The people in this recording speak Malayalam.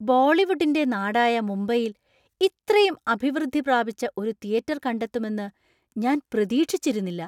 ബോളിവുഡിന്‍റെ നാടായ മുംബൈയിൽ ഇത്രയും അഭിവൃദ്ധി പ്രാപിച്ച ഒരു തിയറ്റർ കണ്ടെത്തുമെന്ന് ഞാൻ പ്രതീക്ഷിച്ചിരുന്നില്ല.